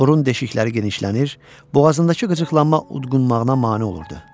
Burun deşikləri genişlənir, boğazındakı qıcıqlanma udqunmağına mane olurdu.